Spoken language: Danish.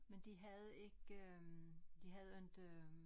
Men de havde ikke øh de havde inte øh